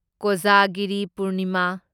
Kojagiri Purnima